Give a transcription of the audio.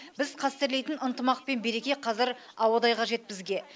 біз қастерлейтін ынтымақ пен береке қазір ауадай қажет бізге